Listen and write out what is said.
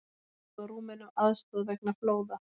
Bjóða Rúmenum aðstoð vegna flóða